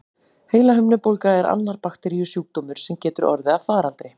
Heilahimnubólga er annar bakteríusjúkdómur, sem getur orðið að faraldri.